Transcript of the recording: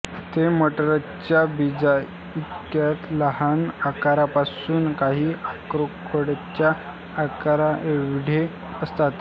ते मटरच्या बीजाइतक्या लहान आकारापासून काही अक्रोडच्या आकाराएवढे असतात